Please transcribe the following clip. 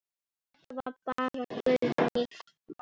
Þetta var bara Guðný.